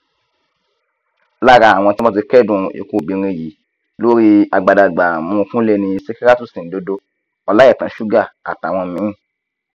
lára àwọn tí wọn ti kẹdùn ikú obìnrin yìí lórí agbadagbààmú kúnlé ni sìkírátù sìǹdòdó ọláìtàn sugar àtàwọn míín